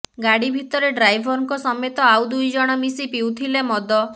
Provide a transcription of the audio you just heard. ଗାଡ଼ି ଭିତରେ ଡ୍ରାଇଭରଙ୍କ ସମେତ ଆଉ ଦୁଇଜଣ ମିଶି ପିଉଥିଲେ ମଦ